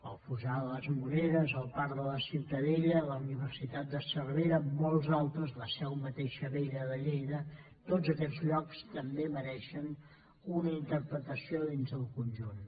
el fossar de les moreres el parc de la ciutadella la universitat de cervera molts altres la mateixa seu vella de lleida tots aquests llocs també mereixen una interpretació dins del conjunt